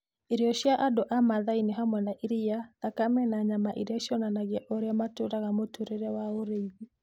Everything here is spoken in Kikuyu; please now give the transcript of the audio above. Irio cia andũ a Masai nĩ hamwe na iria, thakame, na nyama, iria cionanagia ũrĩa matũũraga mũtũũrĩre wa ũrĩithi.